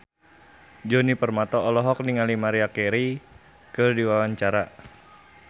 Djoni Permato olohok ningali Maria Carey keur diwawancara